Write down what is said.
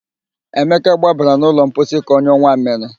Emeka gbabara n'ụlọ mposi ka ọnyụọ nwammịrị